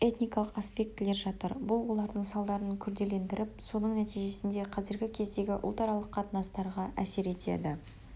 этникалық аспектілер жатыр бұл олардың салдарын күрделендіріп соның нәтижесінде қазіргі кездегі ұлтаралық қатынастарға әсер етеді